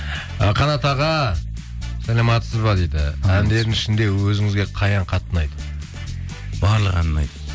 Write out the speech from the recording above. і қанат аға саламатсыз ба дейді әндерің ішінде өзіңізге қай ән қатты ұнайды барлық ән ұнайды